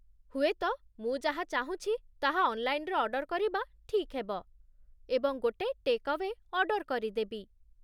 ହୁଏତ ମୁଁ ଯାହା ଚାହୁଁଛି ତାହା ଅନ୍‌ଲାଇନ୍‌ରେ ଅର୍ଡର କରିବା ଠିକ୍ ହେବ ଏବଂ ଗୋଟେ ଟେକ୍ ଆୱେ ଅର୍ଡର କରିଦେବି।